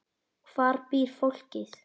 Hvar býr fólkið?